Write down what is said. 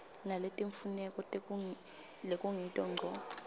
naletimfuneko lekungito ngco